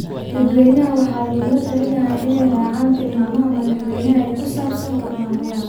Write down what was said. Dadweynaha waxaa lagula talinayaa inay raacaan tilmaamaha madaxweynaha ee ku saabsan Coronavirus.